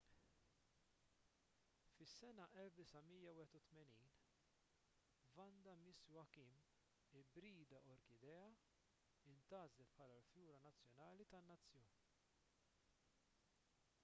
fis-sena 1981 vanda miss joaquim ibrida orkidea intgħażlet bħala l-fjura nazzjonali tan-nazzjon